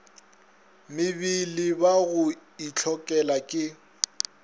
mebele ba go itlhokela ke